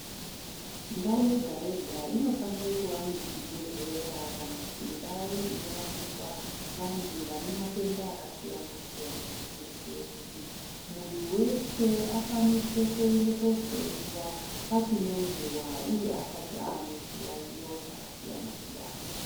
Ndau yega-yega inofanira kuva nezvibhedhlera kana kuti ndau inorapirwa vantu vane matenda akasiyana-siyana. Kuitire kuti muntu veshe akwanise kuende kohloiwa pachine nguva, uye asati ane zviyaiyo zvakasiyana-siyana.